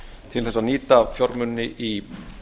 til að nýta fjármuni í